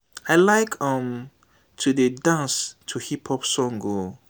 i like um to dey dance to hip hop song o